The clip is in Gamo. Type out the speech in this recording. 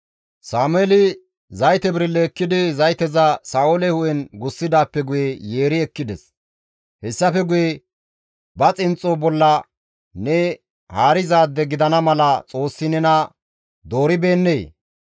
Sameeli zayte birille ekkidi zayteza Sa7oole hu7en gussidaappe guye yeeri ekkides; hessafe guye, «Ba xinxxo bolla ne haarizaade gidana mala Xoossi nena dooribeennee?